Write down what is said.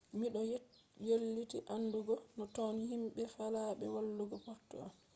mi do weylti andugo no ton himɓe faalaɓe wallugo portuan